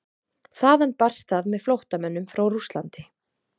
þaðan barst það með flóttamönnum frá rússlandi